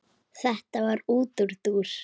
Þetta var útúrdúr.